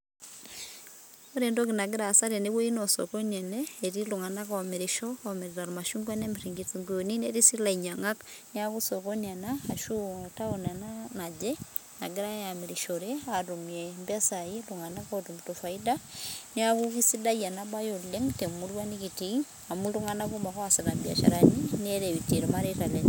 Ore entoki nagiraasa tene naa osokoni ene. Etii iltunganak oomirisho etii iltunganak oomirita irmashungua nemir inkitunguuni. Netii sii ilainyiangak. Niaku sokoni ena ashuu tawon ena naje nagirai aamirishore iltunganak aatmumie faida.. niaku eisidai enabae oleng temurua nikitii amu iltunganak kumok oosita imbiasharani neretie irmareita lenye